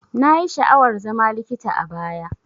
Nayi sha'awar zama likita a baya.